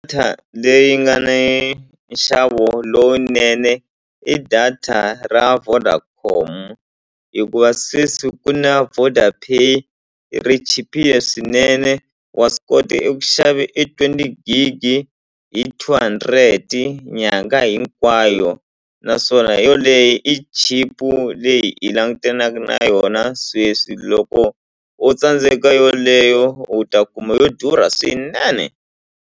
leyi nga ni nxavo lowunene i data ra Vodacom hikuva sweswi ku na Vodapay ri chipile swinene wa swi kota eku xave e twenty gig hi two hundred nyangha hinkwayo naswona yoleye i chipu leyi hi langutanaku na yona sweswi loko o tsandzeka yoleyo u ta kuma yo durha swinene.